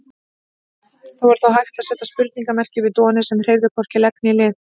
Það var þó hægt að seta spurningarmerki við Doni sem hreyfði hvorki legg né lið.